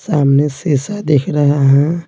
सामने शीशा दिख रहे है।